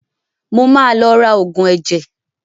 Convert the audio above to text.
Mo ma lọ ra Ògùn ẹ̀jẹ̀